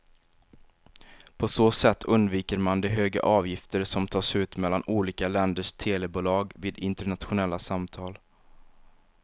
På så sätt undviker man de höga avgifter som tas ut mellan olika länders telebolag vid internationella samtal.